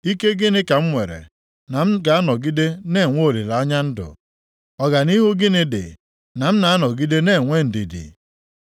“Ike gịnị ka m nwere, na m ga-anọgide na-enwe olileanya ndụ? Ọganihu gịnị dị, na m na-anọgide na-enwe ndidi?